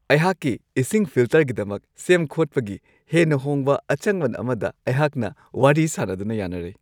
ꯑꯩꯍꯥꯛꯀꯤ ꯏꯁꯤꯡ ꯐꯤꯜꯇꯔꯒꯤꯗꯃꯛ ꯁꯦꯝ-ꯈꯣꯠꯄꯒꯤ ꯍꯦꯟꯅ ꯍꯣꯡꯕ ꯑꯆꯪꯃꯟ ꯑꯃꯗ ꯑꯩꯍꯥꯛꯅ ꯋꯥꯔꯤ ꯁꯥꯅꯗꯨꯅ ꯌꯥꯅꯔꯦ ꯫